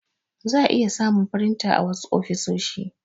za'a iya samun firinta a wasu ofisoshi.